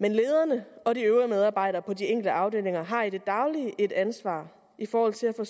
men lederne og de øvrige medarbejdere på de enkelte afdelinger har i det daglige et ansvar i forhold til at få